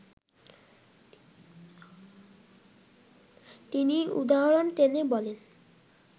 তিনি উদাহরণ টেনে বলেন